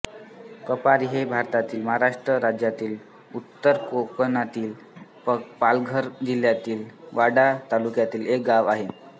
कपारी हे भारतातील महाराष्ट्र राज्यातील उत्तर कोकणातील पालघर जिल्ह्यातील वाडा तालुक्यातील एक गाव आहे